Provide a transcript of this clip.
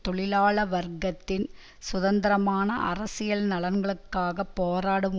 தொழிலாள வர்க்கத்தின் சுதந்திரமான அரசியல் நலன்களுக்காகப் போராடும்